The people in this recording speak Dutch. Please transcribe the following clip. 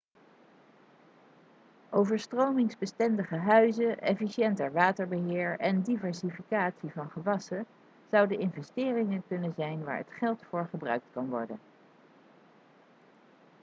overstromingsbestendige huizen efficiënter waterbeheer en diversificatie van gewassen zouden investeringen kunnen zijn waar het geld voor gebruikt kan worden